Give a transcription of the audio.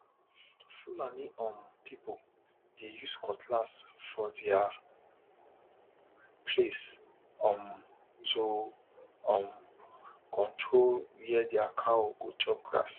fulani um people dey use cutlass for their place um to um control where their cow go chop grass